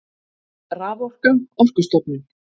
Raforka Orkustofnun.